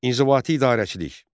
İnzibati idarəçilik.